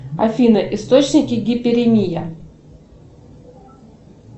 афина источники гиперемия